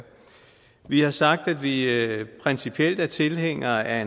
vi har sagt at vi principielt er tilhængere af